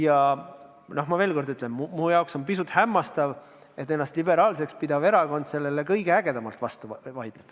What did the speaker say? Ma ütlen veel kord, et minu jaoks on pisut hämmastav, kuidas ennast liberaalseks pidav erakond sellele kõige ägedamalt vastu vaidleb.